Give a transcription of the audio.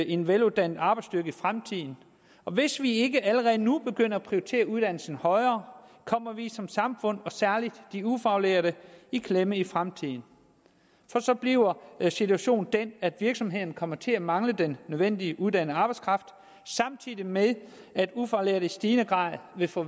en veluddannet arbejdsstyrke i fremtiden og hvis vi ikke allerede nu begynder at prioritere uddannelsen højere kommer vi som samfund særligt de ufaglærte i klemme i fremtiden for så bliver situationen den at virksomhederne kommer til at mangle den nødvendige uddannede arbejdskraft samtidig med at ufaglærte i stigende grad vil få